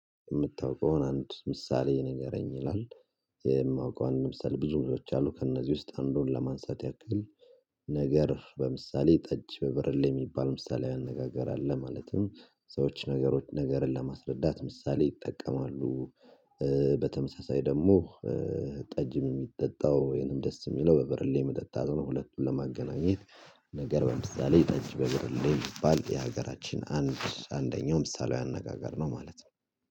የምታውቀውን አንድ ምሳሌ የነገረኝ ይላል። የማውቀውን ለምሳሌ ብዙ ብዙዎች አሉ ከእነዚህ ውስጥ አንዱን ለማንሳት ያክል፤ ነገር በምሳሌ ጠጅ በበርሌ የሚባል ምሳሌ አነጋገር አለ። ማለትም ሰዎች ነገሮች ነገርን ለማስረዳት ምሳሌ ይጠቀማሉ። በተመሳሳይ ደግሞ ጠጅም የሚጠጣው ወይንም ደስ የሚለው በበርሌ መጠጣት ነው። ሁለቱን ለማገናኘት ነገር በምሳሌ ታጅ በብርሌ የሚባል የሀገራችን አንድ አንደኛው ምሳሌው አነጋገር ነው ማለት ነው።